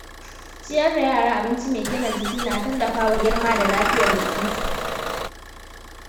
Ciyar da yara abinci mai gina jiki na tallafawa girma da lafiyar jikinsu.